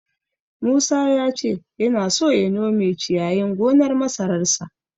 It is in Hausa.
Musa ya ce yana so ya nome ciyayin gonar masararsa.